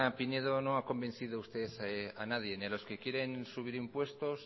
pinedo no ha convencido usted a nadie ni a los que quieren subir impuestos